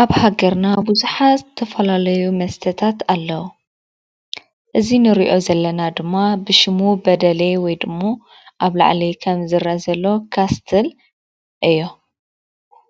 ኣብ ሃገርና ብዙሓት ዝተፈላለዩ መስተታት ኣለዉ:: እዚ ንሪኦ ዘለና ድማ ብሽሙ በደሌ ወይ ደሞ ኣብ ላዕሊ ከም ዝረአ ዘሎ ካስትል እዩ::